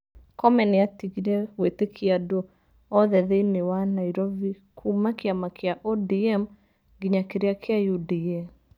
Comey nĩ aatigire gwĩtĩkia andũ othe thĩinĩ wa Nairovi kuuma kĩama kĩa ODM nginya kĩria kia UDA.